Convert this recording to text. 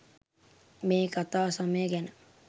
මේ කතා සමය ගැන